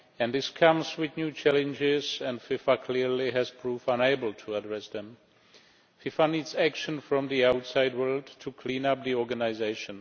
This comes with new challenges, and FIFA clearly has proved unable to address them. FIFA needs action from the outside world to clean up the organisation.